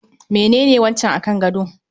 Menene wancan akan gado?